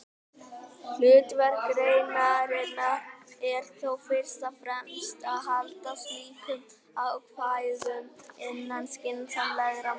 Hlutverk greinarinnar er þó fyrst og fremst að halda slíkum ákvæðum innan skynsamlegra marka.